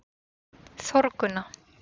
Þórgunna